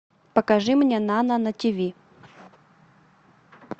покажи мне нано на тиви